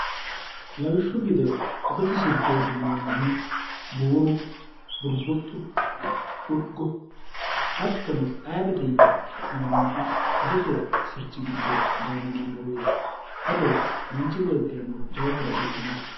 lawishshu gide adote sirchooti yineemmohu buuru burbuxxu urgo hattono aabete yine su'minanniti adote sirchi giddo gaamo mannoreeti ado manchi beettirano jawahoro afidhinote